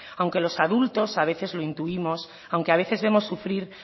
aunque los adultos a veces lo intuimos aunque a veces vemos sufrir